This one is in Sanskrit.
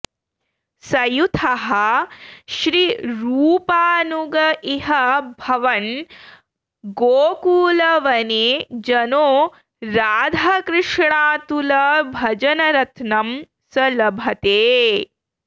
सयूथः श्रीरूपानुग इह भवन् गोकुलवने जनो राधाकृष्णातुलभजनरत्नं स लभते